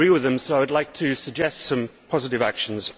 I agree with him, so I would like to suggest some positive actions.